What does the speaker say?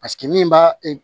Paseke min b'a